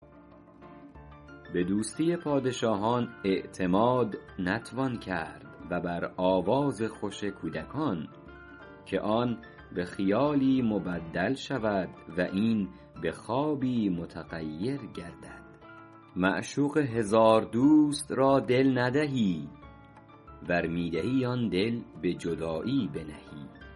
به دوستی پادشاهان اعتماد نتوان کرد و بر آواز خوش کودکان که آن به خیالی مبدل شود و این به خوابی متغیر گردد معشوق هزار دوست را دل ندهی ور می دهی آن دل به جدایی بنهی